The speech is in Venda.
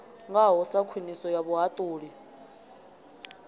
ngaho sa khwiniso ya vhuhaṱuli